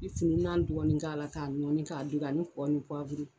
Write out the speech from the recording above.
I kun bi nan dɔgɔni k'a la, k'a nɔɔni, k'a du, a